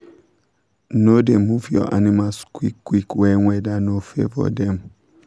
no da move your animals quick quick when weather no favour dem